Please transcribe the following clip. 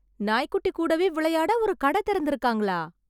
நாய் குட்டி கூடவே விளையாட ஒரு கடை திறந்திருக்காங்களா